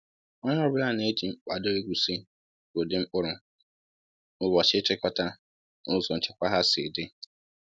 Onye ọ bụla na-eji mkpado egosi ụdị mkpụrụ, ụbọchị ịchịkọta, na ụzọ nchekwa ha si dị.